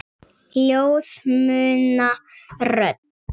Ljóð muna rödd.